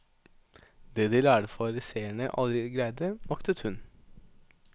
Det de lærde fariseerne aldri greide, maktet hun.